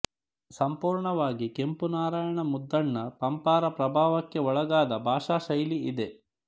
ಸಂಪೂರ್ಣವಾಗಿ ಕೆಂಪುನಾರಾಯಣ ಮುದ್ದಣ್ಣ ಪಂಪರ ಪ್ರಭಾವಕ್ಕೆ ಒಳಗಾದ ಭಾಷಾಶೈಲಿ ಇದೆ